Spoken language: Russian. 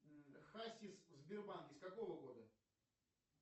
хасис в сбербанке с какого года